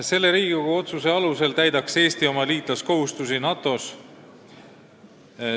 Selle Riigikogu otsuse alusel täidaks Eesti oma liitlaskohustusi NATO-s.